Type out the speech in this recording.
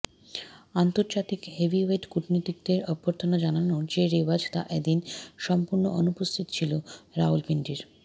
আন্তর্জাতিক হেভিওয়েট কূটনীতিকদের অভ্যর্থনা জানানোর যে রেওয়াজ তা এদিন সম্পূর্ণ অনুপস্থিত ছিল রাওয়ালপিণ্ডির